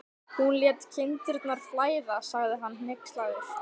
Hún lét kindurnar flæða, sagði hann hneykslaður.